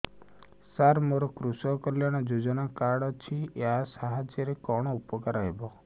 ସାର ମୋର କୃଷକ କଲ୍ୟାଣ ଯୋଜନା କାର୍ଡ ଅଛି ୟା ସାହାଯ୍ୟ ରେ କଣ ଉପକାର ହେବ